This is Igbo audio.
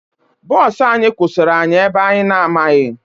Bọọsụ anyị kwụsịrị anyị ebe anyị na-anaghị